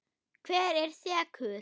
Hver er sekur?